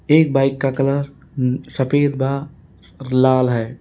एक बाइक का कलर सफेद व लाल है।